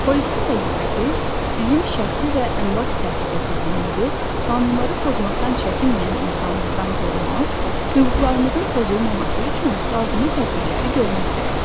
Polisin vəzifəsi bizim şəxsi və əmlak təhlükəsizliyimizi qanunları pozmaqdan çəkinməyən insanlardan qorumaq, hüquqlarımızın pozulmaması üçün lazımi tədbirləri görməkdir.